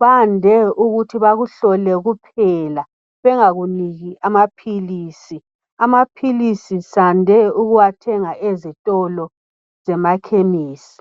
bande ukuthi bakuhlole kuphela bengakuniki amaphilisi, amaphilisi sande ukuwathenga ezitolo zemakhemisi.